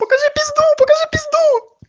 покажи пизду покажи пизду